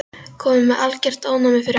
Kominn með algert ofnæmi fyrir áfengi.